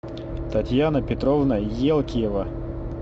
татьяна петровна елкиева